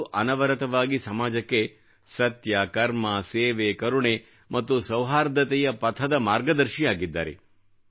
ಅವರು ಅನವರತವಾಗಿ ಸಮಾಜಕ್ಕೆ ಸತ್ಯ ಕರ್ಮ ಸೇವೆ ಕರುಣೆ ಮತ್ತು ಸೌಹಾರ್ದತೆಯ ಪಥದ ಮಾರ್ಗದರ್ಶಿಯಾಗಿದ್ದಾರೆ